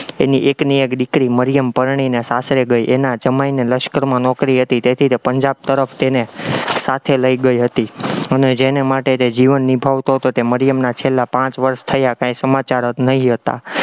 એની એકની એક દીકરી મરિયમ પરણીને સાસરે ગઈ, એના જમાઈને લશ્કરમાં નોકરી હતી તેથી તે પંજાબ તરફ તેને સાથે લઇ ગઈ હતી, અને જેને માટે તે જીવન નિભાવતો હતો તે મરિયમના છેલ્લા પાંચ વર્ષ થયા, કઈ સમાચાર જ નહિ હતા.